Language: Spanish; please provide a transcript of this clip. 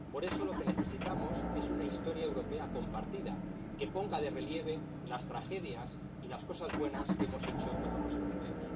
Por eso lo que necesitamos es una historia europea compartida, que ponga de relieve las tragedias y las cosas buenas que hemos hecho todos los europeos.